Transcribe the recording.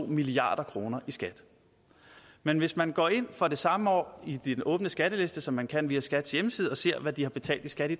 milliard kroner i skat men hvis man går ind for det samme år i de åbne skattelister som man kan via skats hjemmeside og ser hvad de har betalt i skat i